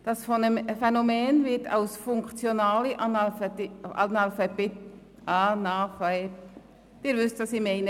Dass Phänomen wird als funktionaler Analpha… –– bezeichnet, Sie wissen, was ich meine.